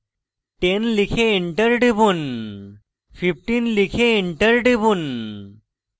10 লিখে enter টিপুন 15 লিখে enter টিপুন